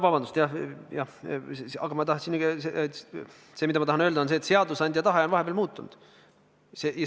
See, mida ma tahan öelda, on see, et seadusandja tahe on vahepeal muutunud.